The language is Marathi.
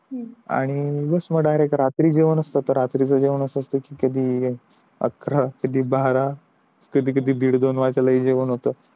हम्म आणि बस मग डायरेक्ट रात्री जेवण असत आणि रात्रीच जेवण या असत कि कधी अकरा कधी बारा कधी कधी दिड दोन वाजता जेवण होत